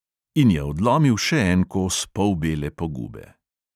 In je odlomil še en kos polbele pogube.